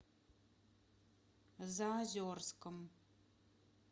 заозерском